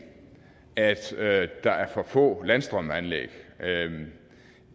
at der er for få landstrømsanlæg det